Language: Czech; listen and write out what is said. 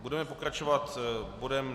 Budeme pokračovat bodem